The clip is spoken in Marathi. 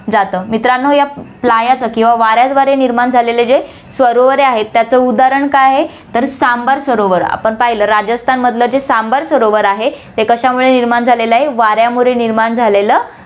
जातं. मित्रांनो, या playa च किंवा वाऱ्याद्वारे निर्माण झालेलं जे सरोवरे आहेत, त्याचं उदाहरण काय आहे, तर सांबर सरोवर आपण पहिलं, राजस्थानमधलं जे सांबर सरोवर आहे, हे कशामुळे निर्माण झालेलं आहे, वाऱ्यामुळे निर्माण झालेलं आहे.